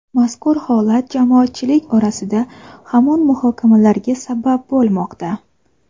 Mazkur holat jamoatchilik orasida hamon muhokamalarga sabab bo‘lmoqda.